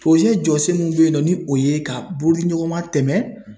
poroze jɔsen min be yen nɔ ni o ye ka boli ɲɔgɔn ma tɛmɛ